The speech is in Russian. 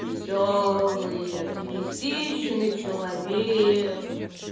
весёлые оптимистичный человек